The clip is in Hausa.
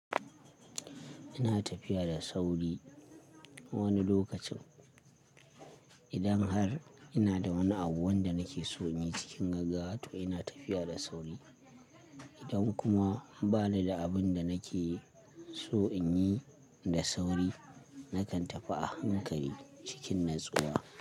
Ina tafiya da sauri wani lokacin. Idan har ina da wani abu wanda nake so in yi cikin gaggawa to ina tafiya da sauri. Idan kuma ba ni da abin da nake so in yi da sauri, nakan tafi a hankali cikin natsuwa.